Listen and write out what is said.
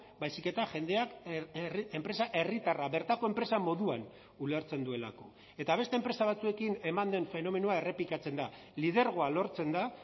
baizik eta jendeak enpresa herritarra bertako enpresa moduan ulertzen duelako eta beste enpresa batzuekin eman den fenomenoa errepikatzen da lidergoa lortzen da